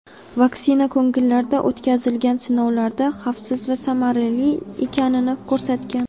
vaksina ko‘ngillilarda o‘tkazilgan sinovlarda xavfsiz va samarali ekanini ko‘rsatgan.